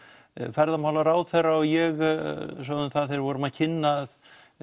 ferðamálaráðherra og ég sögðum það þegar við vorum að kynna